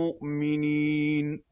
مُّؤْمِنِينَ